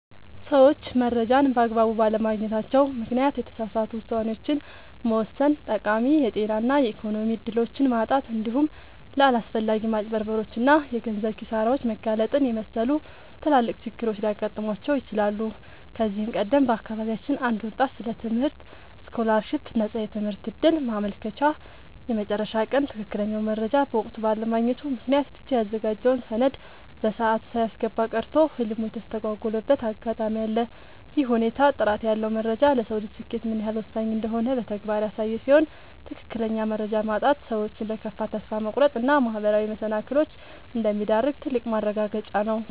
ሰዎች መረጃን በአግባቡ ባለማግኘታቸው ምክንያት የተሳሳቱ ውሳኔዎችን መወሰን፣ ጠቃሚ የጤና እና የኢኮኖሚ እድሎችን ማጣት፣ እንዲሁም ለአላስፈላጊ ማጭበርበሮች እና የገንዘብ ኪሳራዎች መጋለጥን የመሰሉ ትላልቅ ችግሮች ሊገጥሟቸው ይችላሉ። ከዚህ ቀደም በአካባቢያችን አንድ ወጣት ስለ ትምህርት ስኮላርሺፕ (የነፃ ትምህርት ዕድል) ማመልከቻ የመጨረሻ ቀን ትክክለኛውን መረጃ በወቅቱ ባለማግኘቱ ምክንያት ብቻ ያዘጋጀውን ሰነድ በሰዓቱ ሳያስገባ ቀርቶ ህልሙ የተስተጓጎለበት አጋጣሚ አለ። ይህ ሁኔታ ጥራት ያለው መረጃ ለሰው ልጅ ስኬት ምን ያህል ወሳኝ እንደሆነ በተግባር ያሳየ ሲሆን፣ ትክክለኛ መረጃ ማጣት ሰዎችን ለከፋ ተስፋ መቁረጥ እና ማህበራዊ መሰናክሎች እንደሚዳርግ ትልቅ ማረጋገጫ ነው።